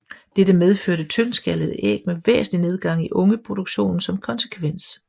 Dette medførte tyndskallede æg med væsentlig nedgang i ungeproduktionen som konsekvens